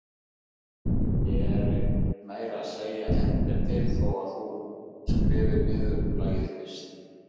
Það gerir meira að segja ekkert til þó að þú skrifir niðurlagið fyrst.